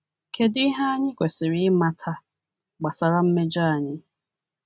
Kedu ihe anyị kwesịrị ịmata gbasara mmejọ anyị?